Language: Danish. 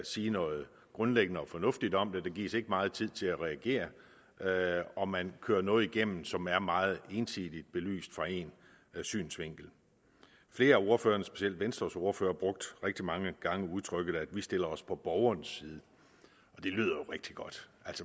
sige noget grundlæggende og fornuftigt om det der gives ikke meget tid til at reagere reagere og man kører noget igennem som er meget ensidigt belyst fra én synsvinkel flere af ordførerne specielt venstres ordfører brugte rigtig mange gange udtrykket vi stiller os på borgerens side det lyder rigtig godt